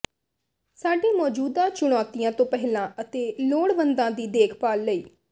ਸਾਡੇ ਮੌਜੂਦਾ ਚੁਣੌਤੀਆਂ ਤੋਂ ਪਹਿਲਾਂ ਅਤੇ ਲੋੜਵੰਦਾਂ ਦੀ ਦੇਖਭਾਲ ਲਈ